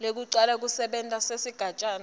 lwekucala kusebenta kwesigatjana